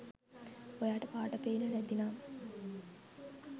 ඔයාට පාට පෙන්නේ නැති නම්